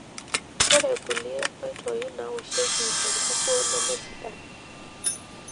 Ore kulie oitoi nawoshieki enkukuo nemesidain.